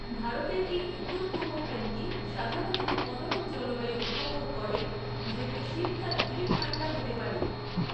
ভারতের এই উত্তর পূর্ব কোণটি সাধারণত মনোরম জলবায়ু উপভোগ করে, যদিও শীতকালগুলি ঠাণ্ডা হতে পারে।